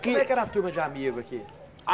Que Como é que era a turma de amigo aqui?